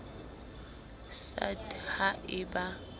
sa d ha e ba